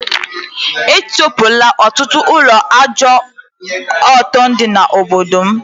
E tikpola ọtụtụ ụlọ ajọ ọtọ dị na obodo m